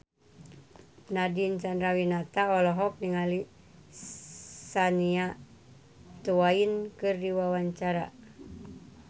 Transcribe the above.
Nadine Chandrawinata olohok ningali Shania Twain keur diwawancara